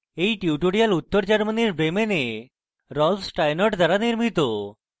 এই টিউটোরিয়াল উত্তর germany bremen rolf steinort দ্বারা নির্মিত